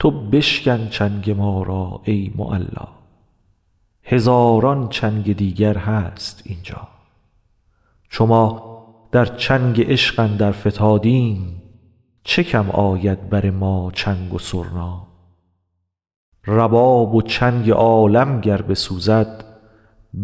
تو بشکن چنگ ما را ای معلا هزاران چنگ دیگر هست اینجا چو ما در چنگ عشق اندر فتادیم چه کم آید بر ما چنگ و سرنا رباب و چنگ عالم گر بسوزد